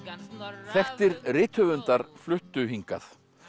þekktir rithöfundar fluttu hingað